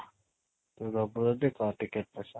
ଦବୁ ଯଦି କହ ticket ପଇସା